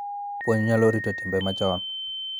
Puonj nyalo rito timbe machon